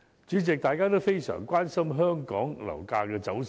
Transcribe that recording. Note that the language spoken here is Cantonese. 主席，大家均非常關心香港樓價走勢。